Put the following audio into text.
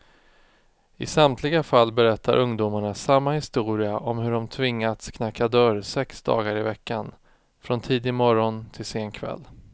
I samtliga fall berättar ungdomarna samma historia om hur de tvingats knacka dörr sex dagar i veckan, från tidig morgon till sen kväll.